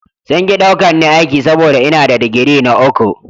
Sun ki ɗaukar ni aiki saboda ina da digiri na uku.